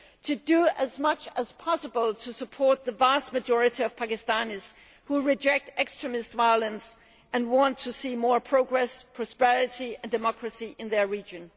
to do as much as possible to support the vast majority of Pakistanis who reject extremist violence and want to see more progress, prosperity and democracy in their region.